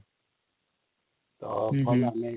ତ ହଁ |